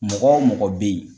Mɔgɔ o mɔgɔ be yen